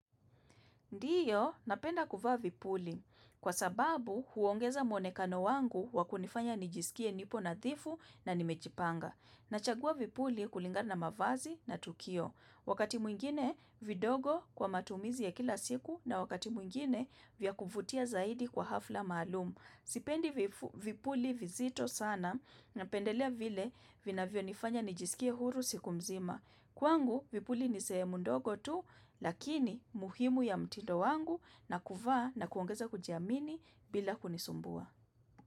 Ndio, napenda kuvaa vipuli. Kwa sababu, huongeza muonekano wangu wakunifanya nijisikie nipo nadhifu na nimejipanga. Nachagua vipuli kulinga na mavazi na tukio. Wakati mwingine, vidogo kwa matumizi ya kila siku na wakati mwingine, vya kuvutia zaidi kwa hafla maalum. Sipendi vifu vipuli vizito sana na pendelea vile vinavyo nifanya nijisikie huru siku mzima. Kwangu vipuli nisee mundogo tu lakini muhimu ya mtindo wangu na kuvaa na kuongeza kujiamini bila kunisumbua.